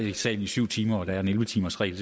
i salen i syv timer og at der er en elleve timersregel